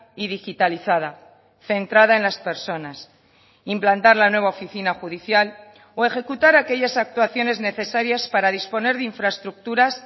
y digitalizada centrada en las personas implantar la nueva oficina judicial o ejecutar aquellas actuaciones necesarias para disponer de infraestructuras